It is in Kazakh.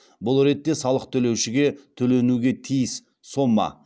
бұл ретте салық төлеушіге төленуге тиіс сома